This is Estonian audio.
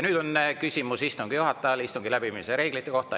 Nüüd on küsimus istungi juhatajale istungi läbiviimise reeglite kohta.